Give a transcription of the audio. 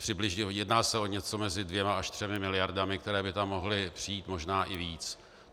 Přibližně se jedná o něco mezi dvěma až třemi miliardami, které by tam mohly přijít, možná i víc.